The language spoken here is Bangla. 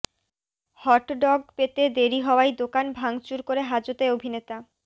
হটডগ পেতে দেরি হওয়ায় দোকান ভাংচুর করে হাজতে অভিনেতা